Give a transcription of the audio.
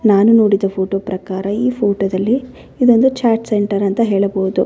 ನಾನು ನೋಡಿದ ಫೋಟೋ ಪ್ರಕಾರ ಈ ಫೋಟೋದಲ್ಲಿ ಇದೊಂದು ಚಾಟ್ ಸೆಂಟರ್ ಅಂತ ಹೇಳಬಹುದು.